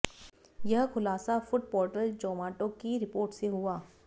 यह खुलासा food portal Zomato की रिपोर्ट से हुआ